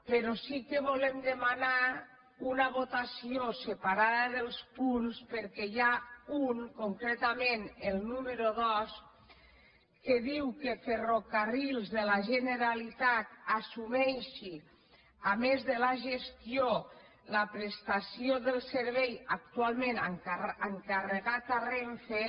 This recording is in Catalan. però sí que volem demanar una votació separada dels punts perquè n’hi ha un concretament el número dos que diu que ferrocarrils de la generalitat assumeixi a més de la gestió la prestació del servei actualment encarregat a renfe